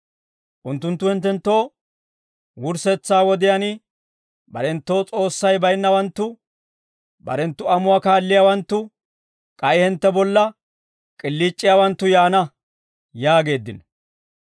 Unttunttu hinttenttoo, «Wurssetsaa wodiyaan, barenttoo S'oossay bayinnawanttu, barenttu amuwaa kaalliyaawanttu, k'ay hintte bolla k'iliic'iyaawanttu yaana» yaageeddino.